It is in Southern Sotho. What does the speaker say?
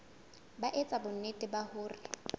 ba etsa bonnete ba hore